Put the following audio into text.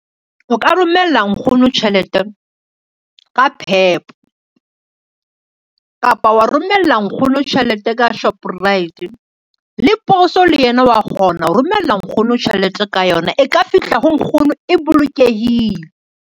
O ka romella nkgono tjhelete ka PEP kapa wa romella nkgono tjhelete, ka Shoprite le poso le yena wa kgona ho romella nkgono tjhelete ka yona e ka fihla ho nkgono e bolokehile.